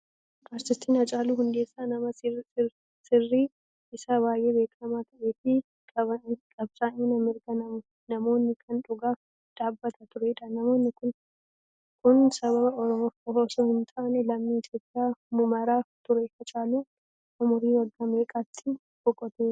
Artistiin Hacaaluu Hundeessaa nama sirbi isaa baay'ee beekamaa ta'ee fi qabsaa'aa mirga namoomaa kan dhugaaf dhaabbataa turedha. Namni kun saba oromoof qofa osoo hin taane lammii Itoophiyaa maraaf ture. Hacaaluun umrii waggaa meeqatti boqotee?